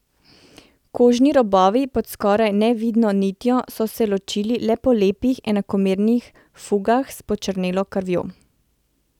Kožni robovi pod skoraj nevidno nitjo so se ločili le po lepih, enakomernih fugah s počrnelo krvjo.